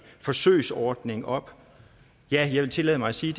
forsøgsordning op og jeg vil tillade mig at sige